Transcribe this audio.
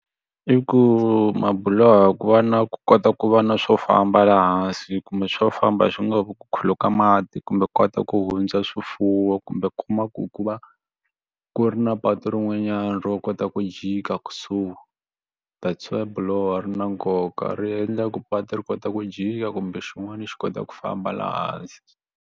I ku mabuloho ku va na ku kota ku va na swo famba laha hansi kumbe swo famba swi nga ku ku khuluka mati kumbe ku kota ku hundza swifuwo kumbe ku kuma ku va ku ri na patu rin'wanyani ro kota ku jika kusuhi that's why buloho ri na nkoka ri endla ku patu ri kota ku jika kumbe xin'wana xi kota ku famba laha hansi.